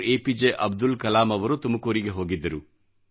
A P J Abdul Kalam ಅವರು ತುಮಕೂರಿಗೆ ಹೋಗಿದ್ದರು